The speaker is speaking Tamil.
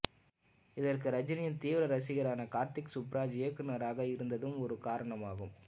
இதற்கு ரஜினியின் தீவிர ரசிகரான கார்த்திக் சுப்பராஜ் இயக்குனராக இருந்ததும் ஒரு காரணம் ஆகும்